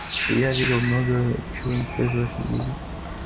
и я видел многое чего никто из вас не видел